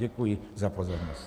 Děkuji za pozornost.